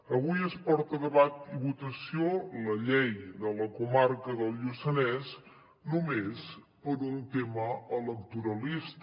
avui es porta a debat i votació la llei de la comarca del lluçanès només per un tema electoralista